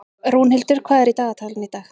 Rúnhildur, hvað er í dagatalinu í dag?